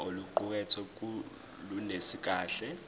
oluqukethwe lunelisi kahle